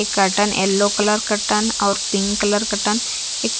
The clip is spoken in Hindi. एक कर्टेन एलो कलर कर्टेन और पिंक कलर कर्टन एक--